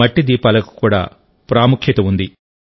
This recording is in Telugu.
మట్టి దీపాలకు కూడా ప్రాముఖ్యత ఉంది